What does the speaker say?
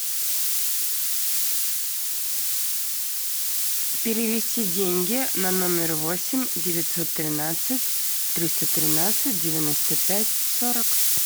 перевести деньги на номер восемь девятьсот тринадцать триста тринадцать девяносто пять сорок